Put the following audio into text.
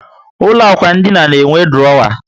Ụlọ ikwụ ndina na enwe durowa